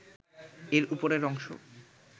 এর উপরের অংশ